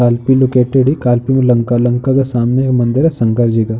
लंका लंका के सामने ये मंदिर है शंकर जी का।